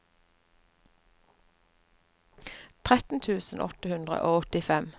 tretten tusen åtte hundre og åttifem